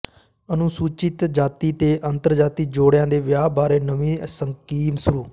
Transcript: ਅਨੁਸੂਚਿਤ ਜਾਤੀ ਤੇ ਅੰਤਰਜਾਤੀ ਜੋੜਿਆਂ ਦੇ ਵਿਆਹਾਂ ਬਾਰੇ ਨਵੀਂ ਸਕੀਮ ਸ਼ੁਰੂ